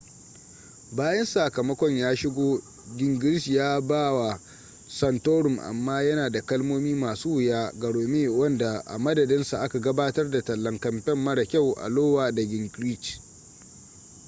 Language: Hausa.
bayan sakamakon ya shigo gingrich ya yaba wa santorum amma yana da kalmomi masu wuya ga romney wanda a madadinsa aka gabatar da tallan kamfe mara kyau a iowa da gingrich